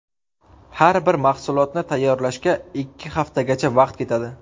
Har bir mahsulotni tayyorlashga ikki haftagacha vaqt ketadi.